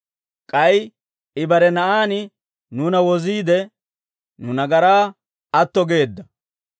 K'ay I bare Na'aan nuuna woziide, nu nagaraa atto geedda.